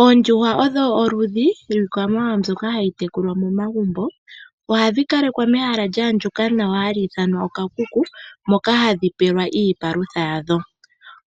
Oondjuhwa odho oludhi lwiikwamawawa mbyoka hayi tekulwa momagumbo. Ohadhi kalekwa mehala lya andjuka nawa hali ithanwa okakuku, moka hadhi pelwa iipalutha yadho.